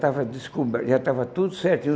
estava descober já estava tudo certinho.